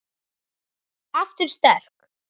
Aftur sterk.